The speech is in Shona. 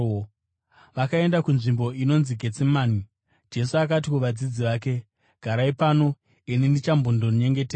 Vakaenda kunzvimbo inonzi Getsemani, Jesu akati kuvadzidzi vake, “Garai pano, ini ndichambondonyengetera.”